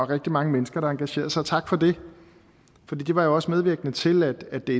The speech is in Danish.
rigtig mange mennesker der engagerede sig og tak for det for det var jo også medvirkende til at det